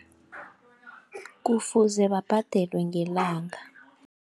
Kufuze babhadelwe ngelanga.